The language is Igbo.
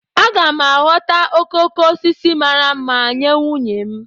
Aga m aghọta okoko osisi mara mma nye nwunye m